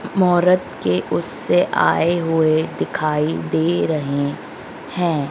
मोहर्रत के उससे आय हुए दिखाई दे रहे हैं।